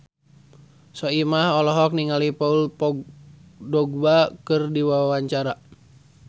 Soimah olohok ningali Paul Dogba keur diwawancara